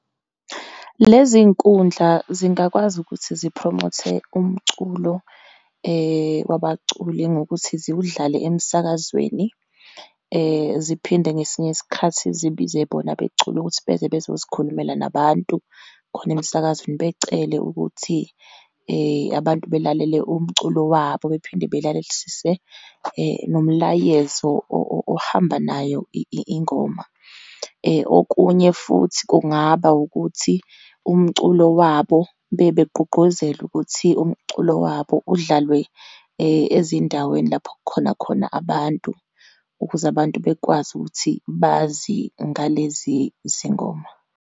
Lezi nkundla zingakwazi ukuthi ziphromothe umculo wabaculi ngokuthi zidlale emsakazweni. Ziphinde ngesinye isikhathi zibize bona abeculi ukuthi beze bezozikhulumela nabantu khona emsakazweni, becele ukuthi abantu belalele umculo wabo, bephinde belalelisise nomlayezo ohamba nayo ingoma. Okunye futhi, kungaba ukuthi umculo wabo bebegqugquzele, ukuthi umculo wabo udlalwe ezindaweni lapho kukhona khona abantu, ukuze abantu bakwazi ukuthi bazi ngalezi zingoma.